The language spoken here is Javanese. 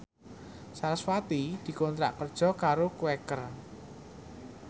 sarasvati dikontrak kerja karo Quaker